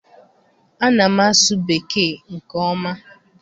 Ana m asụ Bekee nke ọma.